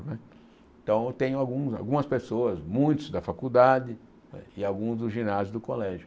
Não é então, eu tenho alguns algumas pessoas, muitos da faculdade não é e alguns do ginásio do colégio.